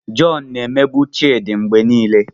John na-emegbu Chidi mgbe niile